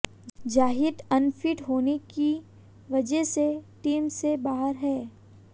Zaheer unfit होने की वजह से टीम से बाहर हैं